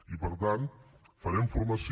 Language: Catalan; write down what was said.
i per tant farem formació